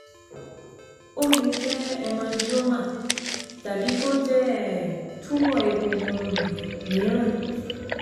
Ó lè jẹ́ hemangioma tàbí kó jẹ́ um tumor egungun um mìíràn